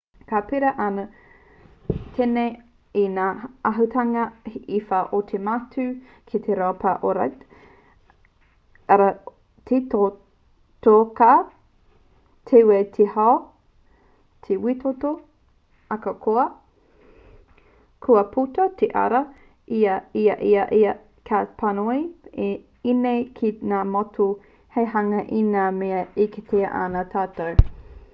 ka pērā anō tēnei i ngā āhuatanga e whā o te matū ki te raupapa ōrite: arā te totoka te wē te hau te wētoto ahakoa kua puta te ariā i a ia ka panoni ēnei ki ngā matū hou hei hanga i ngā mea e kitea ana e tātou